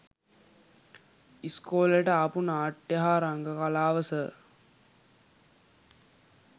ඉස්කෝලෙට ආපු නාට්‍ය හා රංග කලාව සර්